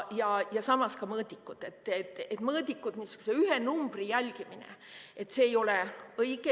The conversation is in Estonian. Ja samas ka mõõdikud, niisugune ühe numbri jälgimine – see ei ole õige.